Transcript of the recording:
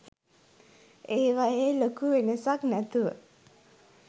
ඒවයෙ ලොකු වෙනසක් නැතුව